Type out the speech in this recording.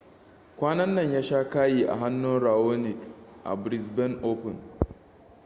kwanan nan ya sha kayi a hannun raonic a brisbane open